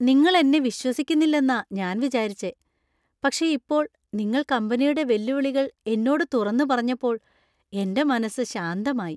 നിങ്ങൾ എന്നെ വിശ്വസിക്കുന്നില്ലെന്നാ ഞാൻ വിചാരിച്ചെ, പക്ഷേ ഇപ്പോൾ നിങ്ങൾ കമ്പനിയുടെ വെല്ലുവിളികള്‍ എന്നോട് തുറന്നു പറഞ്ഞപ്പോള്‍ എന്‍റെ മനസ്സ് ശാന്തമായി .